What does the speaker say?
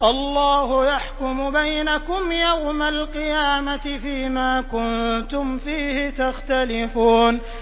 اللَّهُ يَحْكُمُ بَيْنَكُمْ يَوْمَ الْقِيَامَةِ فِيمَا كُنتُمْ فِيهِ تَخْتَلِفُونَ